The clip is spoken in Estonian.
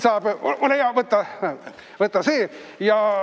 Ole hea, võta see!